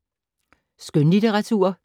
Skønlitteratur